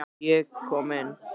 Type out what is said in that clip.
Ég kom inn.